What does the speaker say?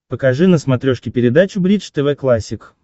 покажи на смотрешке передачу бридж тв классик